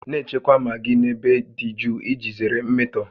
Na-echekwa magị n'ebe dị jụụ iji zere mmetọ